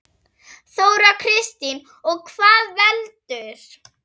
Þóra Kristín: Og hvað veldur?